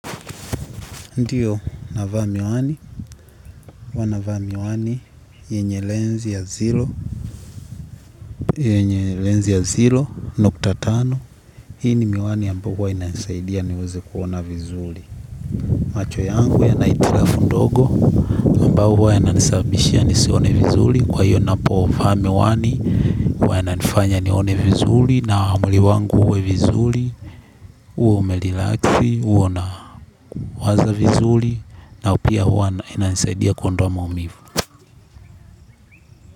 Ndio navaa miwani huwa navaa miwani yenye lensi ya sifuri yenye lensi ya sifuri nukta tano hii ni miwani ambayo huwa inasaidia niweze kuona vizuri. Macho yangu yana hitilafu ndogo, ambayo huwa yananisabishia nisione vizuli, kwa hiyo ninapo vaa miwani, huwa yananifanya nione vizuri, na mwili wangu uwe vizuri uwe umerelaxi uwe na waza vizuri, na pia huwa inasaidia kuondoa maumivu.